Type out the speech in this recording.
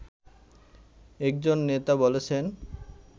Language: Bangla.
একজন নেতা বলেছেন